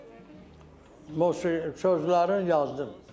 Sonra musiqi sözləri yazdım.